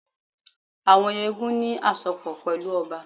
Àwọn eégún ní àsopọ̀ pẹ̀lú ọba